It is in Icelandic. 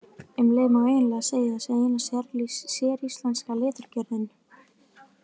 Um leið má eiginlega segja að það sé eina séríslenska leturgerðin.